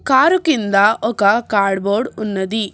Car కింద ఒక cardboard ఉన్నది.